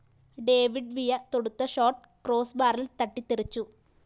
David Villa തൊടുത്ത shot ക്രോസ്ബാറില്‍ തട്ടിത്തെറിച്ചു